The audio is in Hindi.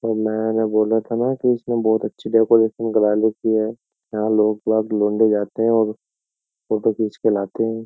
और मैंने बोला था ना कि इसने बहुत अच्छी डेकोरेशन करा रखी है यहाँ लोग लौंडे जाते हैं और फोटो खींच के लाते हैं।